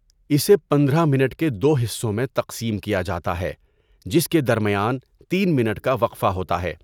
اسے پندرہ منٹ کے دو حصوں میں تقسیم کیا جاتا ہے، جس کے درمیان تین منٹ کا وقفہ ہوتا ہے۔